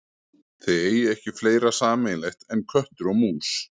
Þið eigið ekki fleira sameiginlegt en köttur og mús.